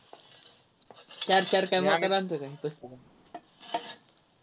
चार चार काय वाटायला आणतो काय पुस्तकं